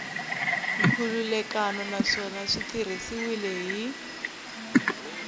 nkhulukelano naswona swi tirhisiwile hi